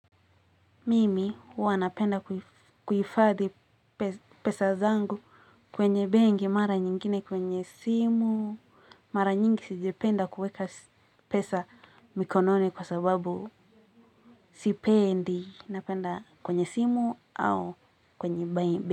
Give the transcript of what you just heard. Mimi huwanapenda kuhifadhi pesa zangu kwenye benki, mara nyingine kwenye simu, mara nyingi sijapenda kuweka pesa mikononi kwa sababu sipendi napenda kwenye simu au kwenye benki.